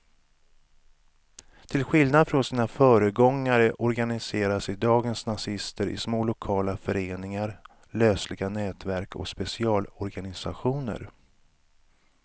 Till skillnad från sina föregångare organiserar sig dagens nazister i små lokala föreningar, lösliga nätverk och specialorganisationer.